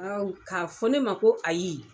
k'a fɔ ne ma ko ayi.